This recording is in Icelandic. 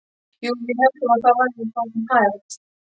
Jú, við héldum að það væri svo sem hægt.